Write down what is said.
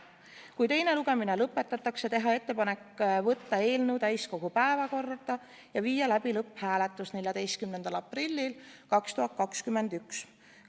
Kui teine lugemine lõpetatakse, teha ettepanek võtta eelnõu täiskogu päevakorda ja viia läbi lõpphääletus 14. aprillil 2021.